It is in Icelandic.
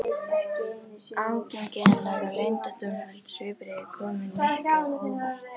Ágengni hennar og leyndardómsfull svipbrigði komu Nikka á óvart.